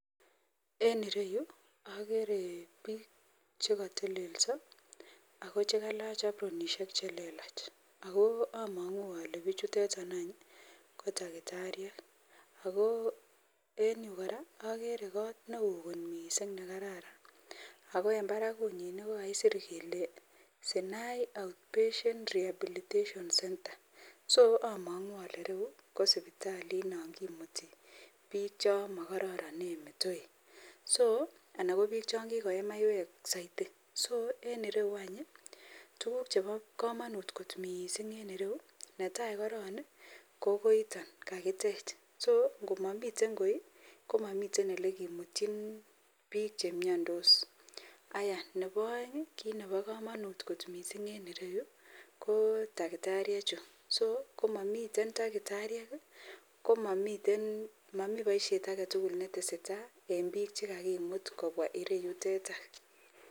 En ireyu agere bik chekatelelso akokalach abronishek chelelach akoamangu Kole bichutetan ko takitariek ako en Yu koraa agere kot neon kot mising nekararan ako en Barak kokakisir Sinai outpatient rehabilitation center so amangu rou Kou sibitali nakimuti bik chamakararanen metoek anan ko bik changikoye maiywek saiti so inireyu ko tuguk Cheba kamanut kot mising netai koron kokoroiton kakitech akomamiten goi komamiten olekimutin bik chemiandos Nebo aeng kit Nebo kamanut kot mising en ireyu kotakitariek Chu komami takitariek komami baishet agetugul netesetai en bik chekakimut kobwa ireyuteton